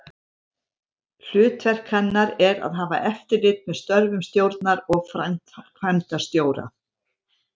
Hlutverk hennar er að hafa eftirlit með störfum stjórnar og framkvæmdastjóra.